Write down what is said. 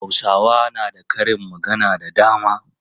Hausa na da karin magana da dama.